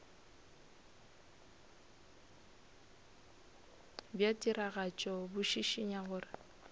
bja tiragatšo bo šišinya gore